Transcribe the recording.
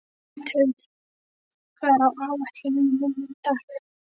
Mundheiður, hvað er á áætluninni minni í dag?